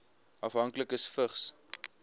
afhanklikes vigs